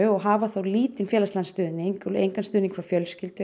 og hafa þá lítinn félagslegan stuðning engan stuðning frá fjölskyldu